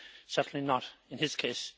Certainly not in his case.